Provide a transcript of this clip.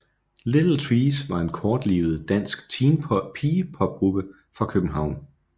Little Trees var en kortlivet dansk teen pop pigegruppe fra København